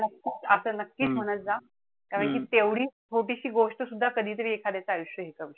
असं नक्कीच म्हणत जा. कारण कि तेवढी छोटीशी गोष्ट सुद्धा कधीतरी एखाद्याच आयुष्य हे करू शकते.